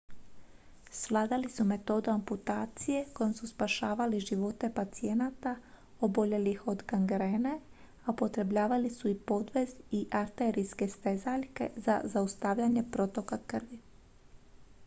svladali su metodu amputacije kojom su spašavali živote pacijenta oboljelih od gangrene a upotrebljavali su i podvez i arterijske stezaljke za zaustavljanje protoka krvi